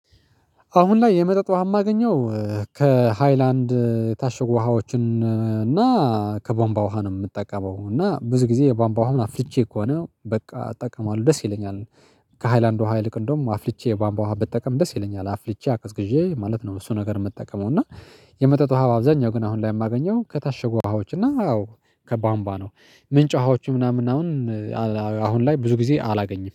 አሁን ላይ የመጠጥ ውሃ የማገኘው። ከሃይላንድ የታሸጉ ውሃዎችን እና ከቦምባ ውሃ ነው የምጠቀመው እና ብዙ ጊዜ የባምባ ውሃውን አፍልቼ ከሆነ በቃ እጠቀማለሁ ደስ ይለኛል። ከሃይላንድ ውሃ ይልቅ እንደውም አፍልቼ ባምባ ውሃ ብትጠቀም ደስ ይለኛል አፍልቼ አቀዝቅዤ ማለት ነው። እሱን ነገር የምትጠቀመው እና የመጠጥ ውሃ በአብዛኛው ግን አሁን ላይ የማገኘው ከታሸጉ ውሃዎች እና አዎ ከቧምባ ነው ምንጭ ውሃዎች ምናምን። አሁን ላይ ብዙ ጊዜ አላገኝም